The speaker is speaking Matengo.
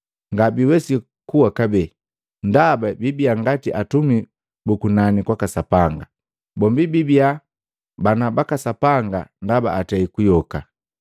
Ngabiiwesi kuwa kabee, ndaba bibia ngati atumi bu kunani kwaka Sapanga, bombi biibia bana baka Sapanga ndaba atei kuyoka.